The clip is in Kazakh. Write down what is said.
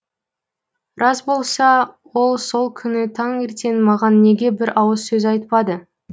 рас болса ол сол күні таңертең маған неге бір ауыз сөз айтпады